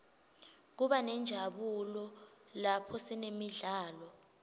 kubanenjabulo laphosinemidlalo